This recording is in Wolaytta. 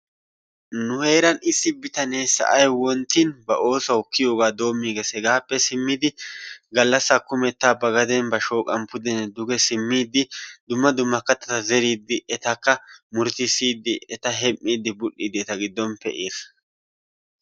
nu heeran issi bitanee sa'ay wonttin ba oosuwawu kiyiyoogaa doomiisgees, hegaappe simmidi galasaa kumetta ba gaden ba shooqan pudenne duge simiidi dummA DUMMA katata zeriidi etakka murutusiidi etaka hem'iidi zeriidi bul'iidi eta gidon pee'iigeees.